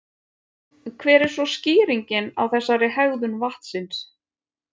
Hver er svo skýringin á þessari hegðun vatnsins?